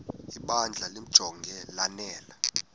ibandla limjonge lanele